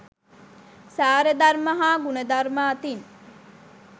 සාරධර්ම හා ගුණධර්ම අතින්